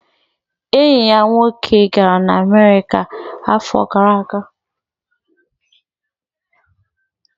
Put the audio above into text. Enyi ya nwoke gara America n'afọ gara aga